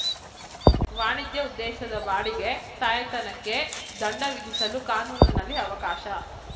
ವಾಣಿಜ್ಯ ಉದ್ದೇಶದ ಬಾಡಿಗೆ ತಾಯ್ತನಕ್ಕೆ ದಂಡ ವಿಧಿಸಲು ಕಾನೂನಿನಲ್ಲಿ ಅವಕಾಶ